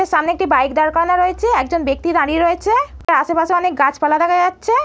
সামনে একটি বাইক দাঁড় করানো রয়েছে। একজন ব্যাক্তি দাঁড়িয়ে রয়েছে। আশেপাশে অনেক গাছপালা দেখা যাচ্ছে।